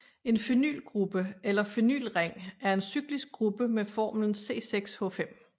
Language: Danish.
En phenylgruppe eller phenylring er en cyklisk gruppe med formlen C6H5